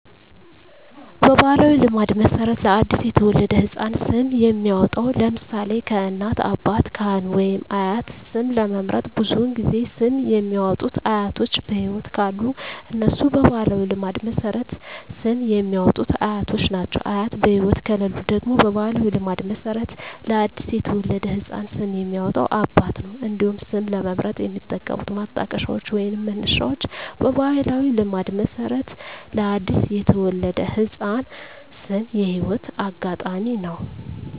በባሕላዊ ልማድ መሠረት ለ አዲስ የተወለደ ሕፃን ስም የሚያወጣዉ (ለምሳሌ: ከእናት፣ አባት፣ ካህን ወይም አያት) ስም ለመምረጥ ብዙውን ጊዜ ስም የሚያወጡት አያቶች በህይወት ካሉ እነሱ በባህላዊ ልማድ መሠረት ስም የሚያወጡት አያቶች ናቸው። አያት በህይወት ከሌሉ ደግሞ በባህላዊ ልማድ መሠረት ለአዲስ የተወለደ ህፃን ስም የሚያወጣው አባት ነው። እንዲሁም ስም ለመምረጥ የሚጠቀሙት ማጣቀሻዎች ወይንም መነሻዎች በባህላዊ ልማድ መሠረት ለአዲስ የተወለደ ህፃን ስም የህይወት አጋጣሚ ነው።